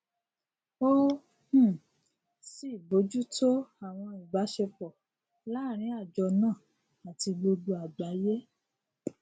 ó um sì bójútó àwọn ìbáṣepọ láàrin àjọ náà àti gbogbo àgbáyé